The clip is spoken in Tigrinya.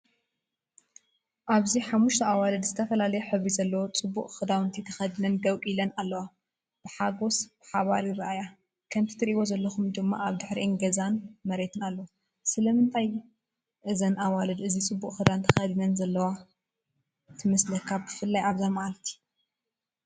ኣብዚ ሓሙሽተ ኣዋልድ ዝተፈላለየ ሕብሪ ዘለዎ ጽቡቕ ክዳውንቲ ተኸዲነን ደው ኢለን ኣለዋ። ብሓጎስ ብሓባር ይረኣያ፡ ከምቲ ትርእይዎ ዘለኹም ድማ ኣብ ድሕሪአን ገዛን መሬትን ኣሎ። ስለምንታይ እዘን ኣዋልድ እዚ ጽቡቕ ክዳን ተኸዲነን ዘለዋ ትመስለካ ብፍላይ ኣብዛ መዓልቲ?